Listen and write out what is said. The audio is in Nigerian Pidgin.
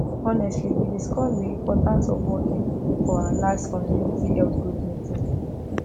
honestly we discuss the importance of walking for our last community health group meeting